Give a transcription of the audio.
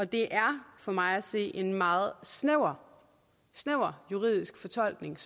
det er for mig at se en meget snæver snæver juridisk fortolkning